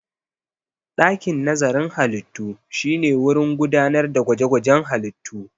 Dakin nazarin halittu shine wurin gudanar da gwaje-gwajen halittu.